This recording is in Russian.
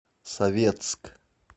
советск